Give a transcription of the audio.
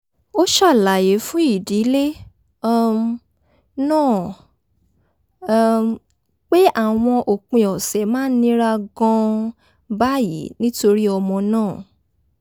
a ṣàlàyé fún ìdílé um náà um pé àwọn òpin ọ̀sẹ̀ máa ń nira gan-an báyìí nítorí ọmọ náà